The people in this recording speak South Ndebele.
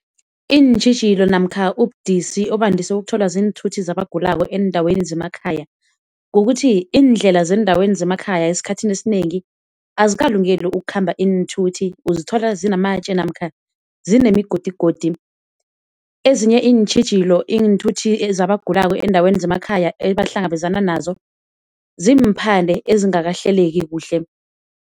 Iintjhijilo namkha ubudisi obandise ukuthola ziinthuthi zabagulako eendaweni zemakhaya kukuthi iindlela zeendaweni zemakhaya esikhathini esinengi azikalungeli ukukhamba iinthuthi, uzithola zinamatje namkha zinemigodigodi. Ezinye iintjhijilo iinthuthi zabagulako eendaweni zemakhaya ebahlangabezana nazo ziimphande ezingakahleleki kuhle.